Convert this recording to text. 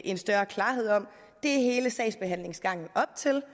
en større klarhed om er hele sagsbehandlingsgangen op til